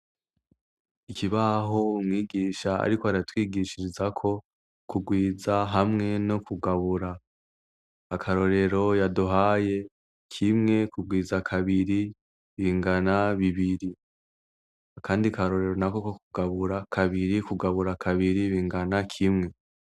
Ikibaho mwigisha, ariko aratwigishirizako kugwiza hamwe no kugabura akarorero yaduhaye kimwe kugwiza kabiri bingana bibiri akandi akarorero na ko ko kugabura kabiri kugabura kabiri bingana kimwe.